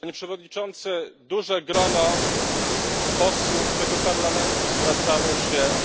Panie Przewodniczący! Duże grono posłów do tego Parlamentu zwracało się